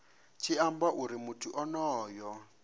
tshi amba uri muthu onoyo